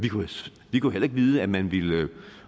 vi kunne heller ikke vide at man ville